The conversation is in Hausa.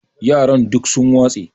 yaran duk sun watse